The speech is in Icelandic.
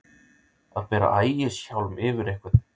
Að bera ægishjálm yfir einhvern